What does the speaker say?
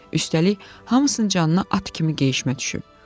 Üstəlik, hamısının canına at kimi geyişmə düşüb.